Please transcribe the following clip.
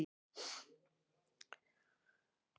Pálheiður, hvað er lengi opið í Tíu ellefu?